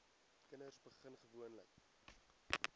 kinders begin gewoonlik